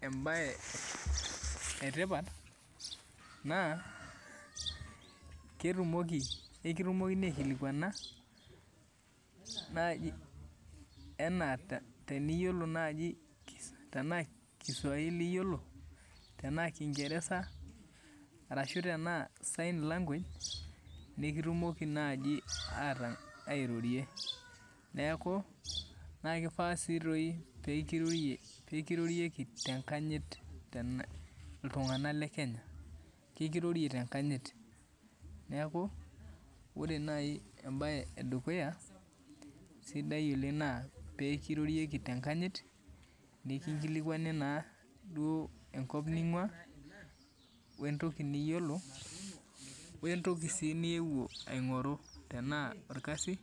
embaye etipat naa ketumoki, ekitumokini aikilikuana naaji enaa teniyiolo naaji naa ekisuaili iyolo, tanaaa kingeresa, arashu tanaa sign language ,nikitumoki naaji airorie, naaku naa ekeifaa sii doi peekirorieki te inkanyit iltungana le kenya, ekirorie te inkanyit, naaku Ore nai embaye edukuya sidai oleng naa peekirorieki te inkanyit, nikinkilikuani naa duo enkop ninguna, wuo entoki niyiolo, wuo entoki sii niewuo aing'oru tenaa irkasi.